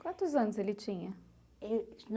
Quantos anos ele tinha?